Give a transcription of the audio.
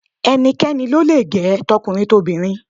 Ẹnikẹ́ni lo le gẹ̀ ẹ́, tọkùnrin tobìnrin.